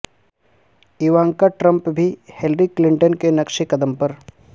Ivanka Trump بھی Hillary Clinton کے نقش قدم پر